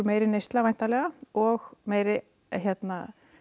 meiri neysla væntanlega og meiri